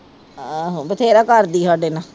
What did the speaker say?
ਆਹੋ ਬਥੇਰਾ ਕਰਦੀ ਸਾਡੇ ਨਾਲ